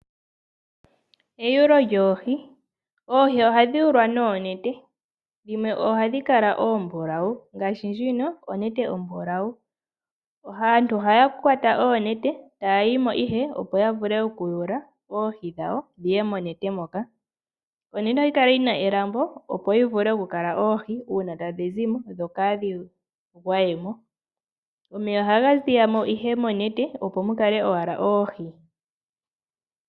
Oohi ohadhi yulwa noonete dhimwe ohadhi kala ombulawu. Aantu ohaya kwata oonete taya yimo ihe, opo ya vule okuyula oohi dhawo. Onete ohayi kala yina elambo opo oohi dhikalemo dho kaadhi gwayemo. Omeya ohaga ziya mo opo mu kale owala oohi.